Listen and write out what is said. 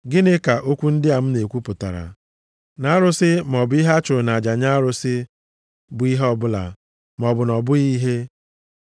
Gịnị ka okwu ndị a m na-ekwu pụtara? Na arụsị, maọbụ ihe a chụrụ nʼaja nye arụsị bụ ihe ọbụla, maọbụ na ọ bụghị ihe?